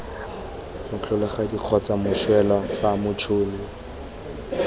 motlholagadi kgotsa moswelwa fa motšhoni